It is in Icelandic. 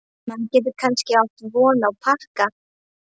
Maður getur kannski átt von á pakka